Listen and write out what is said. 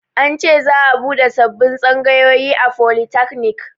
An ce za'a buɗe sabbin tsangayoyi a folitakanik